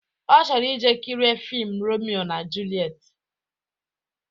Ọ chọrọ ije kirie fiim Romio na Julet